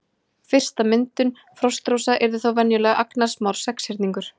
Fyrsta myndun frostrósa yrði þá venjulega agnarsmár sexhyrningur.